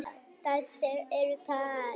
Dætur þeirra eru tvær.